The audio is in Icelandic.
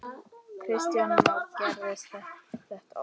Kristján Már: Gerist þetta oft?